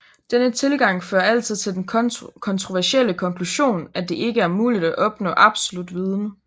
Denne tilgang fører altid til den kontroversielle konklusion at det ikke er muligt at opnå absolut viden